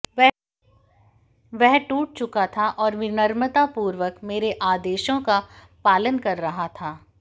वह टूट चुका था और विनम्रतापूर्वक मेरे आदेशों का पालन कर रहा था